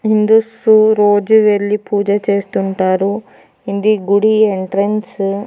ఇందుస్సు రోజు వెళ్ళి పూజ చేస్తుంటారు ఇది గుడి ఎంట్రెన్సు .